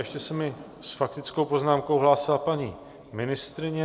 Ještě se mi s faktickou poznámkou hlásila paní ministryně.